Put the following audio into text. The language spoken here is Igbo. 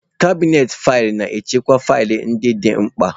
Kabinetị faịlụ na-echekwa faịlụ ndị dị mkpa.